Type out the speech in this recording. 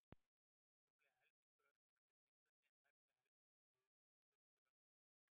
Rúmlega helmingur öskunnar féll á Íslandi, en tæplega helmingur suður og suðaustur af landinu.